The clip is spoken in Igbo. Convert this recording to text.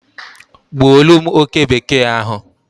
gbuolụm oke bekee ahụ.